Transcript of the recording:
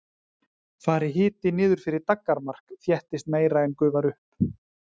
Fari hiti niður fyrir daggarmark þéttist meira en gufar upp.